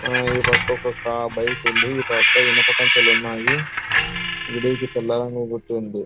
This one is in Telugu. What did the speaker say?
ఆ ఈ పక్కకి ఒక బైక్ ఉంది. ఈ పక్క ఇనుప కంచెలు ఉన్నాయి. గుట్ట ఉంది.